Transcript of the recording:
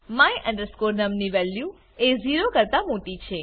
my num ની value એ 0 કરતા મોટી છે